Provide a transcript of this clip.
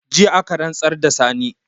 Jiya aka rantsar da Sani